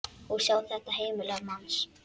Og sjá þetta heimili manns.